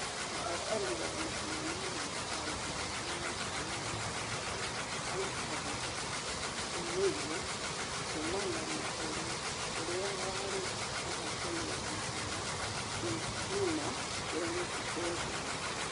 Mũhota wa mahenya ma mwaka wa ngĩrĩ ĩgĩrĩ na ĩkũmĩ na ĩthathatũ arutaga ũmĩrerio kuumana na ũrĩa warĩ muhotani wa mahenya thĩ ngima Dennis Biden.